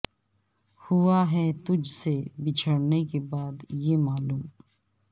ہوا ہے تجھ سے بچھڑنے کے بعد یہ معلوم